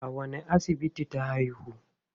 A wanne asibiti ta haihu?